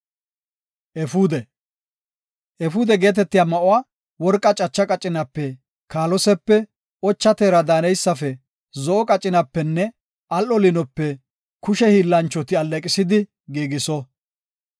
“Efuude geetetiya ma7uwa worqa cacha qacinape, kaalosepe, ocha teera daaneysafe, zo7o qacinapenne al7o liinope kushe hiillanchoti alleeqisidi giigiso.